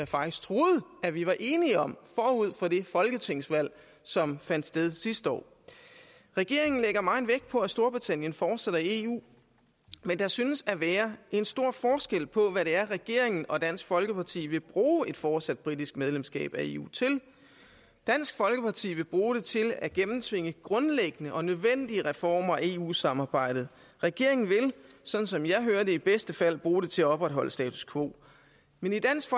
faktisk troede at vi var enige om forud for det folketingsvalg som fandt sted sidste år regeringen lægger meget vægt på at storbritannien fortsætter i eu men der synes at være en stor forskel på hvad det er regeringen og dansk folkeparti vil bruge et fortsat politisk medlemskab af eu til dansk folkeparti vil bruge det til at gennemtvinge grundlæggende og nødvendige reformer af eu samarbejdet regeringen vil sådan som jeg hører det i bedste fald bruge det til at opretholde status quo men i dansk